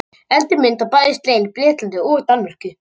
Eldri mynt var bæði slegin í Bretlandi og Danmörku.